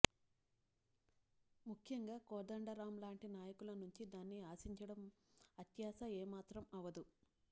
ముఖ్యంగా కోదండరామ్ లాంటి నాయకుల నుంచి దాన్ని ఆశించడం అత్యాశ ఏమాత్రం అవదు